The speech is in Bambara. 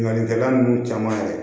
Ɲɔnikɛla ninnu caman yɛrɛ